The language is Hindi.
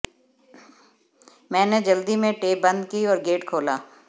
मैंने जल्दी में टेप बंद की और गेट खोला